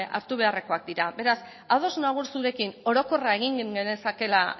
hartu beharrekoak dira beraz ados nago zurekin orokorra egin genezakeela